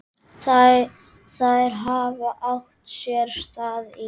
Þær hafi átt sér stað í dag.